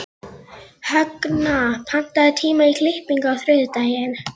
Högna, pantaðu tíma í klippingu á þriðjudaginn.